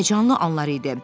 Həyəcanlı anlar idi.